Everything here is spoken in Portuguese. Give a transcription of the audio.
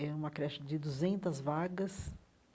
Era uma creche de duzentas vagas.